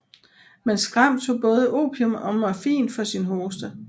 Men Skram tog både opium og morfin for sin hoste